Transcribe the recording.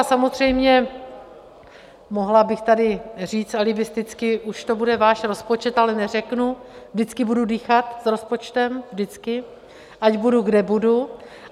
A samozřejmě, mohla bych tady říct alibisticky, už to bude váš rozpočet, ale neřeknu, vždycky budu dýchat s rozpočtem, vždycky, ať budu, kde budu.